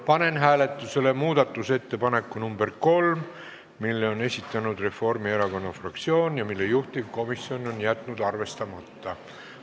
Panen hääletusele muudatusettepaneku nr 3, mille on esitanud Reformierakonna fraktsioon ja mille juhtivkomisjon on jätnud arvestamata.